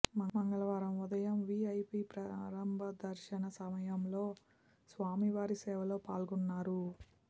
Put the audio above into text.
మంగళవారం ఉదయం వీఐపీ ప్రారంభ దర్శన సమయంలో స్వామి వారి సేవలో పాల్గొన్నారు